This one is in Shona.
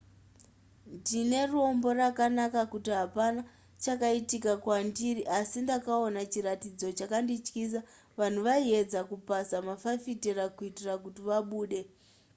ndine rombo rakanaka kuti hapana chakaitika kwandiri asi ndakaona chiratidzo chakandityisa vanhu vaiedza kupaza mafafitera kuitira kuti vabude